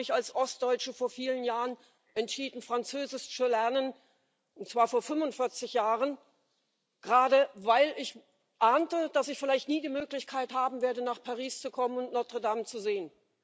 Ich habe mich als Ostdeutsche vor vielen Jahren entschieden, Französisch zu lernen und zwar vor 45 Jahren gerade weil ich ahnte, dass ich vielleicht nie die Möglichkeit haben werde, nach Paris zu kommen und Notre Dame zu sehen.